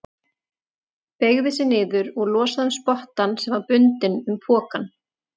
Beygði sig niður og losaði um spottann sem var bundinn um pokann.